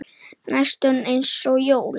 Næstum eins og jólin.